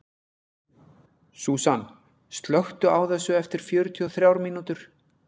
Súsan, slökktu á þessu eftir fjörutíu og þrjár mínútur.